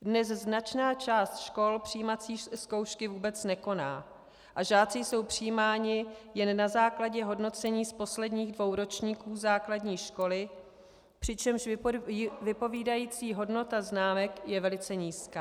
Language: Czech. Dnes značná část škol přijímací zkoušky vůbec nekoná a žáci jsou přijímáni jen na základě hodnocení z posledních dvou ročníků základní školy, přičemž vypovídající hodnota známek je velice nízká.